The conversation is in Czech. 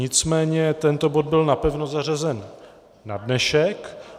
Nicméně tento bod byl napevno zařazen na dnešek.